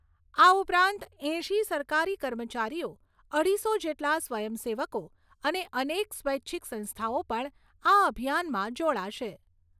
આ ઉપરાંત એંશી સરકારી કર્મચારીઓ અઢીસો જેટલા સ્વયંસેવકો અને અનેક સ્વૈચ્છિક સંસ્થાઓ પણ આ અભિયાનમાં જોડાશે.